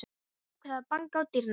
Ég ákvað að banka á dyrnar.